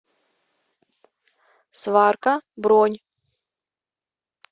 сварка бронь